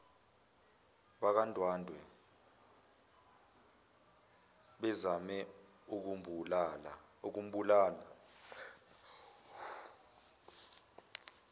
bakwandwandwe bezame ukumbulala